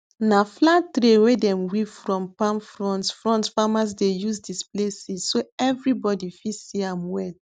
na flat tray wey dem weave from palm fronds fronds farmers dey use display seeds so everybody fit see am well